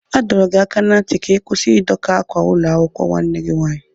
A dọrọ gị aka ná ntị ka ị kwụsị Ị doka ákwà ụlọakwụkwọ nwanne gị nwaanyị!